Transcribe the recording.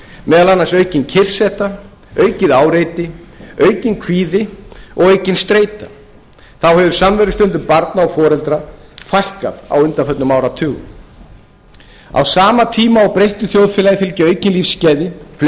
meðal annars aukin kyrrseta aukið áreiti aukinn kvíði og aukin streita þá hefur samverustundum barna og foreldra fækkað á undaförnum áratugum á sama tíma og breyttu þjóðfélagi fylgja aukin lífsgæði fleiri